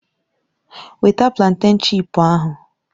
Weta plantèn chipu ahụ!